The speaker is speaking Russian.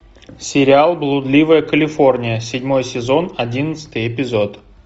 сериал блудливая калифорния седьмой сезон одиннадцатый эпизод